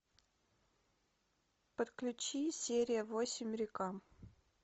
подключи серия восемь река